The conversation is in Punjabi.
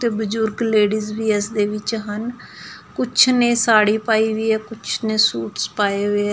ਤੇ ਬੁਜੁਰਗ ਲੇਡੀਜ਼ ਵੀ ਇਸਦੇ ਵਿੱਚ ਹਨ ਕੁਛ ਨੇ ਸਾਡੀ ਪਾਈ ਹੋਇਆ ਕੁਛ ਨੇ ਸੂਟਸ ਪਾਏ ਹੋਏ ਹੈਂ।